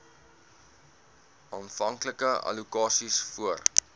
aanvanklike allokasies voor